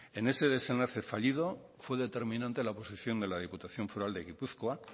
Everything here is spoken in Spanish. en ese desenlace fallido fue determinante la oposición de la diputación foral de gipuzkoa